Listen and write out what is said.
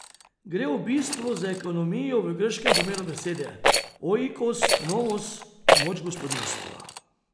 Gre v bistvu za ekonomijo v grškem pomenu besede, oikos nomos, moč gospodinjstva?